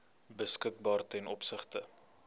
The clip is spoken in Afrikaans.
beskikbaar ten opsigte